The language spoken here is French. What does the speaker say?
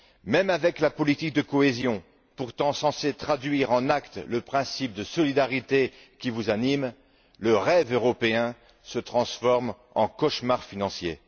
Même avec la politique de cohésion pourtant censée traduire en actes le principe de solidarité qui vous anime, le rêve européen se transforme en cauchemar financier.